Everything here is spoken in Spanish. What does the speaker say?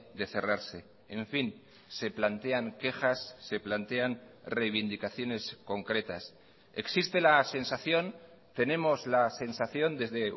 de cerrarse en fin se plantean quejas se plantean reivindicaciones concretas existe la sensación tenemos la sensación desde